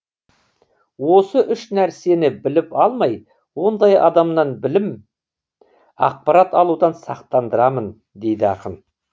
осы үш нәрсені біліп алмай ондай адамнан білім ақпарат алудан сақтандырамын дейді ақын